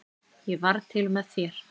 Ég varð til með þér.